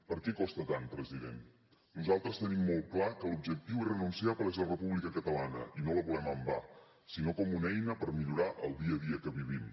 per què costa tant president nosaltres tenim molt clar que l’objectiu irrenunciable és la república catalana i no la volem en va sinó com una eina per millorar el dia a dia que vivim